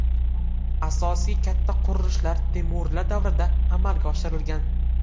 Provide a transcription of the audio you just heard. Asosiy katta qurilishlar temuriylar davrida amalga oshirilgan.